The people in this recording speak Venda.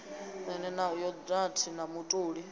ḓe na yogathi na mutoli